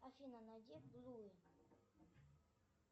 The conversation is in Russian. афина найди блум